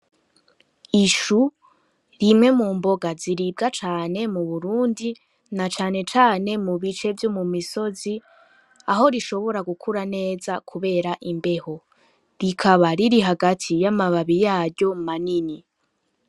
Ishu rimwe mu mboga ziribwa cane mu burundi na canecane mu bice vyo mu misozi aho rishobora gukura neza, kubera imbeho rikaba riri hagati y'amababi yayo manini.